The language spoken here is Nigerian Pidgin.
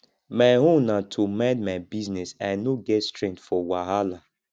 my own na to mind my business i no get strength for wahala